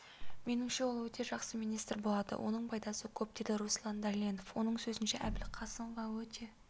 меніңше ол өте жақсы министр болады оның пайдасы көп деді руслан дәленов оның сөзінше әбілқасымова өте